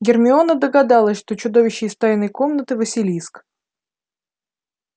гермиона догадалась что чудовище из тайной комнаты василиск